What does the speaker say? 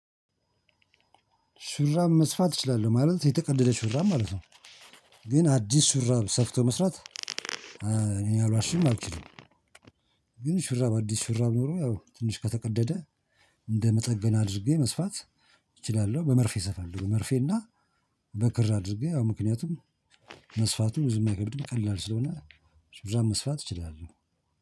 ሹራብ መስፋት እችላለሁ ማለት የተቀደደ ሹራብ ማለት ነው። ግን አዲስ ሹራብ ሰፍቶ መስራት እኔ አልዋሽም አልችልም። ግን ሽራብ አዲስ ሽራብ ሆኖ ያው ትንሽ ከተቀደደ እንደ መጠገን አድርጌ መስፋት። እችላለሁ በመርፌ ሰፋለሁ መርፌና በክር አድርጌ አዎ ምክንያቱም። መስፋቱ ብዙም አይከብድም ቀላል ስለሆነ ሹራብ መስፋት እችላለሁ።